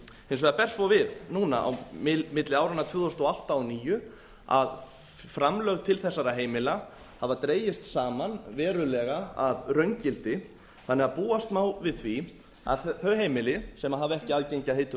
hins vegar ber svo við núna á milli áranna tvö þúsund og átta og tvö þúsund og níu að framlög til þessara heimila hafa dregist saman verulega að raungildi þannig að búast má við því að þau heimili sem hafa ekki aðgengi að heitu